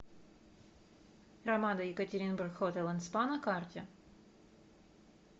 рамада екатеринбург хотел энд спа на карте